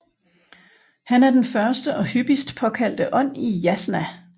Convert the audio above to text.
Han er den første og hyppigst påkaldte ånd i Yasna